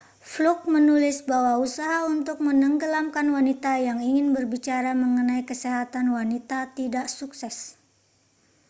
fluke menulis bahwa usaha untuk menenggelamkan wanita yang ingin berbicara mengenai kesehatan wanita tidak sukses